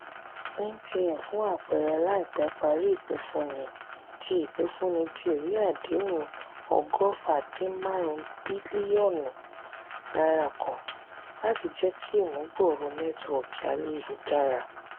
mtn fún àpẹẹrẹ laipẹ parí ipifunni tí ipifunni tí ìwé àdéhùn ogofa dín marun bilionu náírà kan láti jeki imubgooro netiwoki ayélujara.